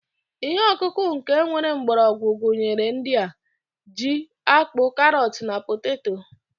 Ihe ọkụkọ nke nwere mgbọrọgwụ gụnyere ndị a: ji, akpu, karọt na poteto.